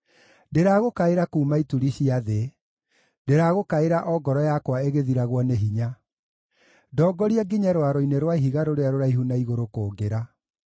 Ndĩragũkaĩra kuuma ituri cia thĩ, ndĩragũkaĩra o ngoro yakwa ĩgĩthiragwo nĩ hinya; ndongoria nginye rwaro-inĩ rwa ihiga rũrĩa rũraihu na igũrũ kũngĩra.